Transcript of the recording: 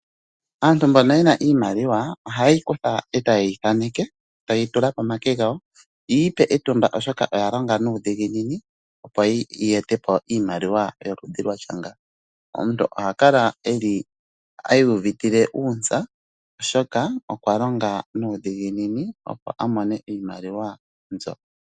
Aantu mbono yena iimaliwa ohaye yi kutha etaye yi thaneke taye yi tula pomake gawo yiipe etumba oshoka oya longa nuudhigininiopo yeete po iimaliwa yoludhi lwatya nga. Omuntu oha kala iiyuvitile uuntsa oshoka okwa longa nuudhiginini opo a mone iimaliwa mbyo.